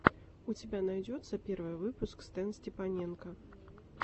у тебя найдется первый выпуск стэнстепаненко